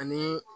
Ani